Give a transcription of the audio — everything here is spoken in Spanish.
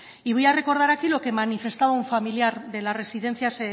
y voy a recordar aquí lo que manifestaba un familiar de las residencias